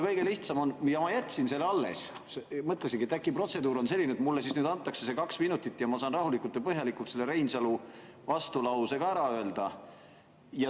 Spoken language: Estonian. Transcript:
Ja ma jätsin selle alles, mõtlesin, et äkki protseduur on selline, et mulle nüüd antakse need kaks minutit ja siis ma saan rahulikult ja põhjalikult selle vastulause Reinsalu ka ära öelda.